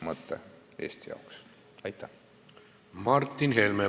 Martin Helme, palun!